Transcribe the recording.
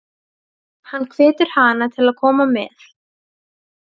Hann hvetur hana til að koma með.